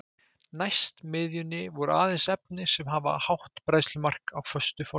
Næst miðjunni voru aðeins efni sem hafa hátt bræðslumark á föstu formi.